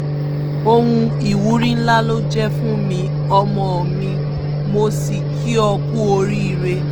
ohun ìwúrí ńlá ló jẹ́ fún mi ọmọ mi mo sì kí ó ku oríire